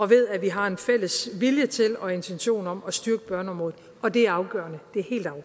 ved at vi har en fælles vilje til og intention om at styrke børneområdet og det er afgørende